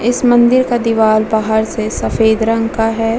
इस मंदिर का दीवाल बाहर से सफेद रंग का है ।